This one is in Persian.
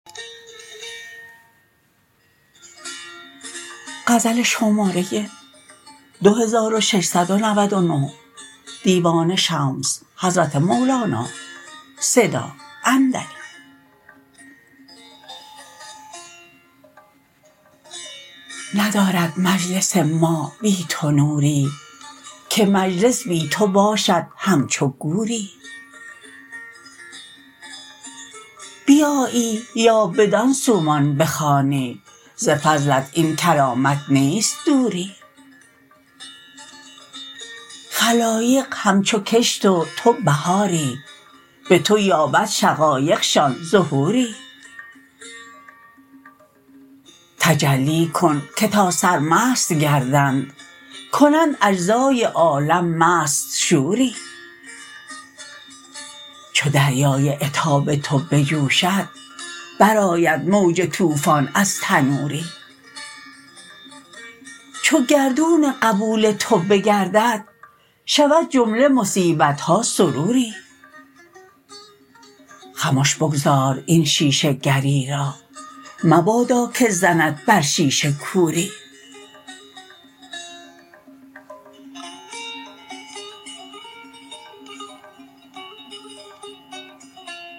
ندارد مجلس ما بی تو نوری که مجلس بی تو باشد همچو گوری بیایی یا بدان سومان بخوانی ز فضلت این کرامت نیست دوری خلایق همچو کشت و تو بهاری به تو یابد شقایقشان ظهوری تجلی کن که تا سرمست گردند کنند اجزای عالم مست شوری چو دریای عتاب تو بجوشد برآید موج طوفان از تنوری چو گردون قبول تو بگردد شود جمله مصیبت ها سروری خمش بگذار این شیشه گری را مبادا که زند بر شیشه کوری